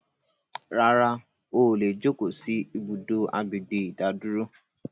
Rárá, óò lè jókò sì ibùdó àgbègbè ìdádúró